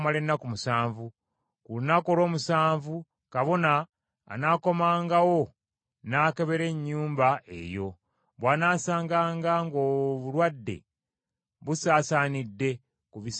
Ku lunaku olw’omusanvu kabona anaakomangawo n’akebera ennyumba eyo. Bw’anaasanganga ng’obulwadde busaasaanidde ku bisenge by’ennyumba eyo,